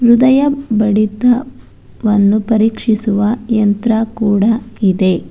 ಹೃದಯ ಬಡಿತ ವನ್ನು ಪರೀಕ್ಷಿಸುವ ಯಂತ್ರ ಕೊಡ ಇದೆ.